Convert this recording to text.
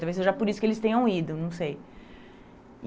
Talvez seja por isso que eles tenham ido, não sei.